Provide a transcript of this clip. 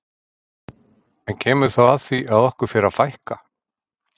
En kemur þá að því að okkur fer að fækka?